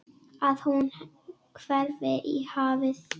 Að hún hverfi í hafið.